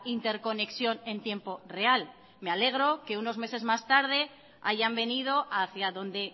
interconexión en tiempo real me alegro que unos meses más tarde hayan venido hacia donde